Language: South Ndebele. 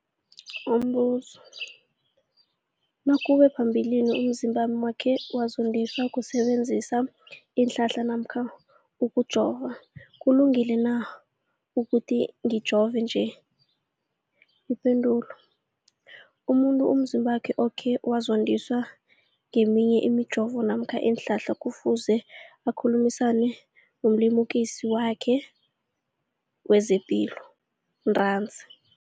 Umbuzo, nakube phambilini umzimbami wakhe wazondiswa kusebenzisa isihlahla namkha ukujova, kulungile na ukuthi ngijove nje? Ipendulo, umuntu umzimbakhe okhe wazondiswa ngeminye imijovo namkha iinhlahla kufuze akhulumisane nomlimukisi wakhe wezepilo ntanzi.